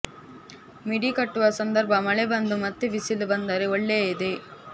ಮಿಡಿ ಕಟ್ಟುವ ಸಂದರ್ಭ ಮಳೆ ಬಂದು ಮತ್ತೆ ಬಿಸಿಲು ಬಂದರೆ ಒಳ್ಳೆಯದೆ